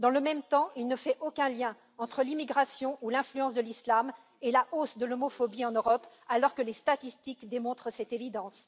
Dans le même temps, il ne fait aucun lien entre l'immigration et l'influence de l'islam et la hausse de l'homophobie en Europe, alors que les statistiques démontrent cette évidence.